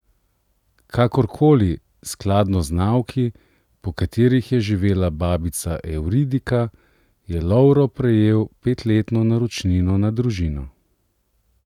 Kakorkoli, skladno z nauki, po katerih je živela babica Evridika, je Lovro prejel petletno naročnino na Družino.